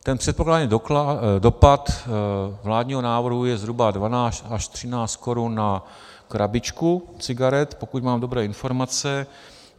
Ten předpokládaný dopad vládního návrhu je zhruba 12 až 13 korun na krabičku cigaret, pokud mám dobré informace.